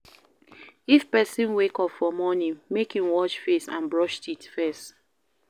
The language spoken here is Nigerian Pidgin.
If person wake up for morning make in wash face and brush teeth first